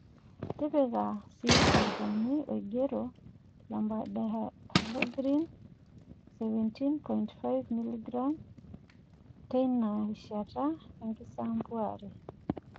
Tipika sii olchani oigero , Lambdacyhalothrin 17.5g/l teina rishata enkisampuare.